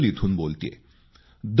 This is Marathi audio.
मी बोडल इथून बोलतेय